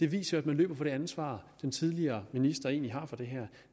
viser at man løber fra det ansvar den tidligere minister egentlig har for det her